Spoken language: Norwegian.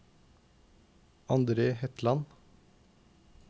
Andre Hetland